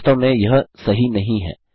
वास्तव में यह सही नहीं है